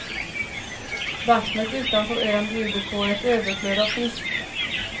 Vattnet utanför ön bjuder på ett överflöd av fisk.